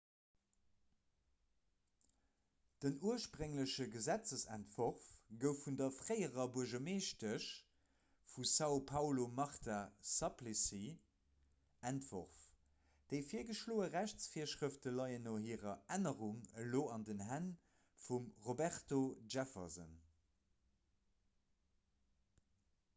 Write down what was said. den urspréngleche gesetzentworf gouf vun der fréierer buergermeeschtesch vu são paulo marta suplicy entworf. déi virgeschloe rechtsvirschrëfte leien no hirer ännerung elo an den hänn vum roberto jefferson